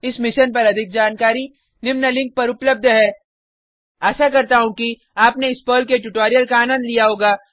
इस मिशन पर अधिक जानकारी निम्न लिंक पर उपलब्ध है आशा करता हूँ कि आपने इस पर्ल के ट्यूटोरियल का आनंद लिया होगा